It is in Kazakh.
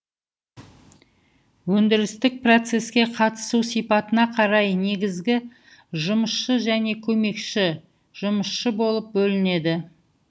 өндірістік процеске қатысу сипатына қарай негізгі жұмысшы және көмекші жұмысшы болып бөлінеді